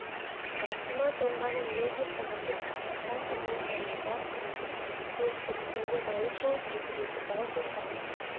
рахима тоңғанын мүлдем ұмытып шат үнмен сақылдап күледі суық біткен ғайып болып екі беті бал-бұл жанады